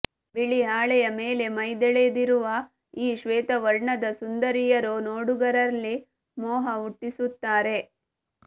ಬಿಳಿ ಹಾಳೆಯ ಮೇಲೆ ಮೈದಳೆದಿರುವ ಈ ಶ್ವೇತವರ್ಣದ ಸುಂದರಿಯರು ನೋಡುಗರಲ್ಲಿ ಮೋಹ ಹುಟ್ಟಿಸುತ್ತಾರೆ